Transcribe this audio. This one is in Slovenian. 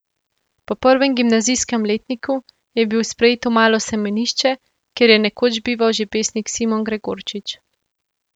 Po prvem gimnazijskem letniku je bil sprejet v malo semenišče, kjer je nekoč bival že pesnik Simon Gregorčič.